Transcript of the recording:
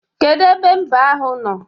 Kedu ebe mbe ahụ nọ?